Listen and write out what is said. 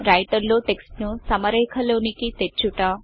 writer లో text ను సమరేఖలోనికి తెచ్చుట